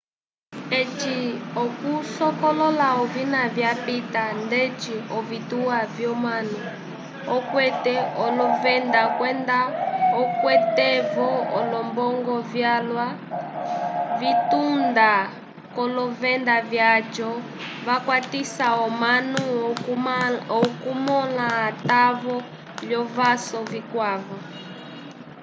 eci okusokolola ovina vyapita ndeci ovituwa vyomunu okwete olovenda kwenda okwete-vo olombongo vyalwa vyatunda k'olovenda vyaco vakwatisa omanu okumõla atavo l'ovaso vikwavo